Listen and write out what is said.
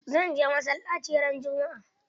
Zan je masallaci ran juma'a.